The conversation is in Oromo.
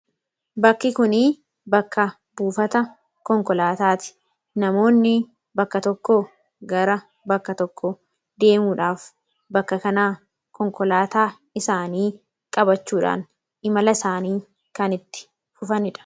Bakki kun bakka buufata konkolaataati. Namoonni bakka tokko gara bakka tokko deemuudhaaf bakka kanaa konkolaataa isaanii qabachuudhaan imala isaanii kanitti fufanidha.